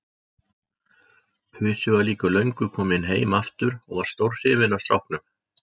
Pusi var líka löngu kominn heim aftur og var stórhrifinn af stráknum.